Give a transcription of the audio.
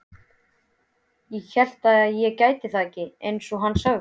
Hélt ég gæti þetta ekki, einsog hann sagði.